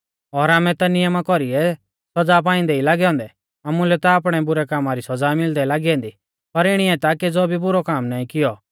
और आमै ता नियमा कौरीऐ सौज़ा पाइंदै लागै औन्दै आमुलै ता आपणै बुरै कामा री सौज़ा मिलदै लागी ऐन्दी पर इणीऐ ता केज़ौ भी बुरौ काम नाईं कियौ